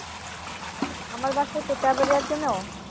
আমার বাসা Totaberia চেনো